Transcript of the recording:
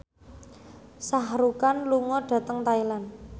Shah Rukh Khan lunga dhateng Thailand